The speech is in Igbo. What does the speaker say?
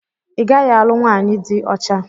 I gaghị alụ nwaanyị dị ọcha!